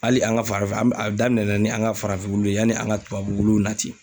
Hali an ka farafin an a daminɛ na ni an ka farafinw wuluw ye yani an ka tubabu wuluw nati.